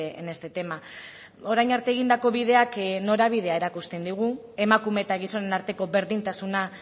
en este tema orain arte egindako bideak norabidea erakusten digu emakume eta gizonen arteko berdintasuna